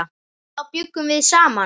Þá bjuggum við saman.